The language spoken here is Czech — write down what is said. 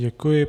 Děkuji.